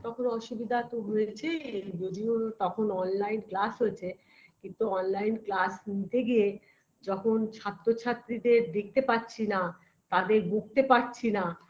তখন অসুবিধা তো হয়েছে বুঝিও তখন online class হয়েছে কিন্তু online class নিতে গিয়ে যখন ছাত্র ছাত্রীদের দেখতে পাচ্ছি না তাদের বকতে পারছি না